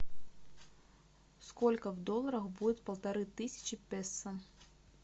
сколько в долларах будет полторы тысячи песо